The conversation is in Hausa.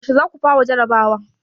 yaushe za ku fara jarrabawa?